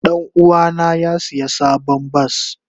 Danuwa na ya siya sabon bas.